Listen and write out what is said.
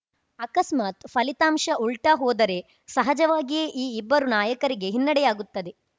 ಅಕಸ್ಮಾತ್‌ ಫಲಿತಾಂಶ ಉಲ್ಟಾಹೋದರೆ ಸಹಜವಾಗಿಯೇ ಈ ಇಬ್ಬರು ನಾಯಕರಿಗೆ ಹಿನ್ನಡೆಯಾಗುತ್ತದೆ